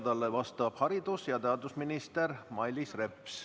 Talle vastab haridus- ja teadusminister Mailis Reps.